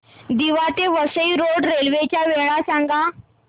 दिवा ते Vasai road railway च्या वेळा सांगा